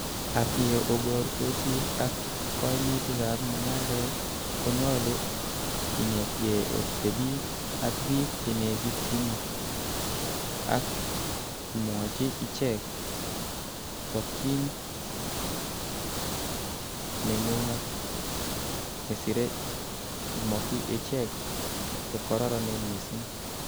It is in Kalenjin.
Ak ye obortosi ak koimutikab mung'aret, konyolu inetgei otebii ak bik chenekityini ak imwochi ichek tokyin nengung, ak nesire imokyi ichek chekororonen missing.